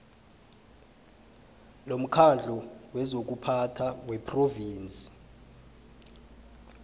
lomkhandlu wezokuphatha wephrovinsi